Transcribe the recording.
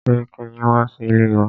Sẹ́ríkí yín wá sí ilé wa.